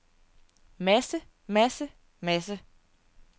masse masse masse